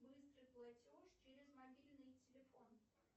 быстрый платеж через мобильный телефон